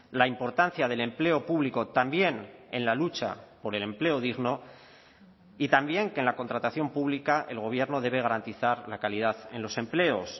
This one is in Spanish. la importancia del empleo público también en la lucha por el empleo digno y también que en la contratación pública el gobierno debe garantizar la calidad en los empleos